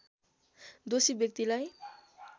दोषी व्यक्तिलाई